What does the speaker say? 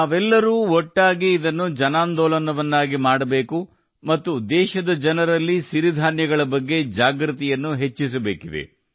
ನಾವೆಲ್ಲರೂ ಒಟ್ಟಾಗಿ ಇದನ್ನು ಸಾಮೂಹಿಕ ಆಂದೋಲನವನ್ನಾಗಿ ಮಾಡಬೇಕು ಮತ್ತು ದೇಶದ ಜನರಲ್ಲಿ ಸಿರಿಧಾನ್ಯಗಳ ಬಗ್ಗೆ ಜಾಗೃತಿಯನ್ನು ಹೆಚ್ಚಿಸಬೇಕು